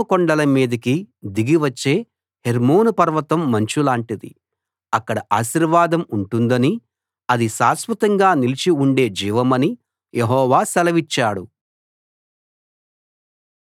అది సీయోను కొండల మీదికి దిగి వచ్చే హెర్మోను పర్వతం మంచులాంటిది అక్కడ ఆశీర్వాదం ఉంటుందనీ అది శాశ్వతంగా నిలిచి ఉండే జీవమనీ యెహోవా సెలవిచ్చాడు